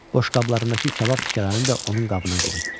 Boşqablarındakı kabab tikələrini də onun qabına qoydu.